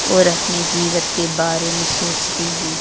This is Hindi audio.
और अपने जीवित के बारे में सोचती हूं ।